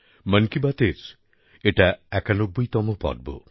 মন কি বাতের এটা একানব্বইতম পর্ব